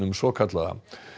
svokallaða